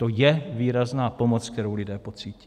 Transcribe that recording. To je výrazná pomoc, kterou lidé pocítí.